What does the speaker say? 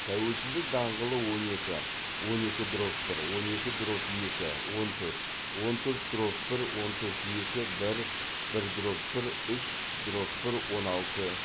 тәуелсіздік даңғылы он екі он екі дробь бір он екі дробь екі он төрт он төрт дробь бір он төрт екі бір бір дробь бір үш дробь бір он алты